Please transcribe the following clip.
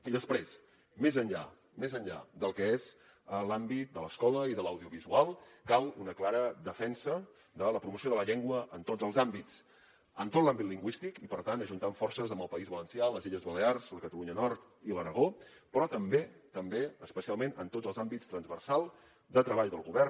i després més enllà del que són els àmbits de l’escola i de l’audiovisual cal una clara defensa de la promoció de la llengua en tots els àmbits en tot l’àmbit lingüístic i per tant ajuntant forces amb el país valencià les illes balears la catalunya nord i l’aragó però també especialment en tots els àmbits transversals de treball del govern